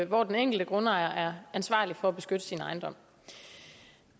hvor den enkelte grundejer er ansvarlig for at beskytte sin ejendom